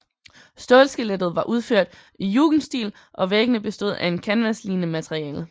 Stålskelettet var udført i jugendstil og væggene bestod af et kanvaslignende materiale